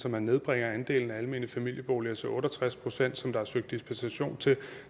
at man nedbringer andelen af almene familieboliger til otte og tres pct som der er søgt dispensation til